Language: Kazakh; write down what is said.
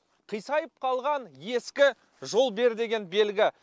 қисайып қалған ескі жол бер деген белгі